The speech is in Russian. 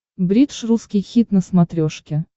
бридж русский хит на смотрешке